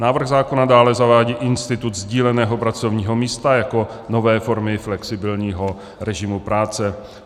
Návrh zákona dále zavádí institut sdíleného pracovního místa jako nové formy flexibilního režimu práce.